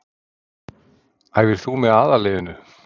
Æfir þú með aðalliðinu?